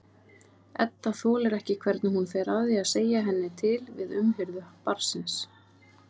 Edda þolir ekki hvernig hún fer að því að segja henni til við umhirðu barnsins.